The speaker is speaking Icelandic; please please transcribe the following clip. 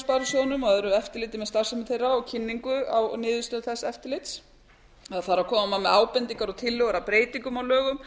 sparisjóðunum og öðru eftirliti með starfsemi þeirra og kynningu á niðurstöðum þess eftirlits e koma með ábendingar og tillögur að breytingum á lögum